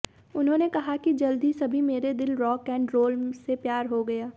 उन्होंने कहा कि जल्द ही सभी मेरे दिल रॉक एंड रोल से प्यार हो गया